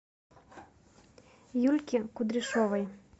юльки кудряшовой